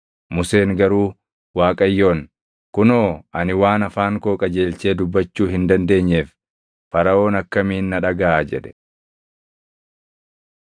Museen garuu Waaqayyoon, “Kunoo, ani waan afaan koo qajeelchee dubbachuu hin dandeenyeef Faraʼoon akkamiin na dhagaʼa?” jedhe.